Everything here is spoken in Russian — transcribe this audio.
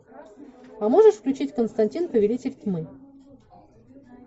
а можешь включить константин повелитель тьмы